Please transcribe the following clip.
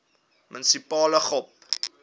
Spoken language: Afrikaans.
munisipale gop